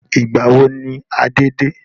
Ìgbàwo ni Adé de?